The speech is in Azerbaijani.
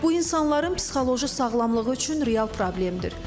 Bu insanların psixoloji sağlamlığı üçün real problemdir.